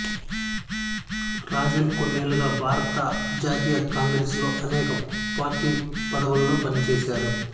రాజన్ కొన్నేళ్లుగా భారత జాతీయ కాంగ్రెస్ లో అనేక పార్టీ పదవుల్లో పనిచేశారు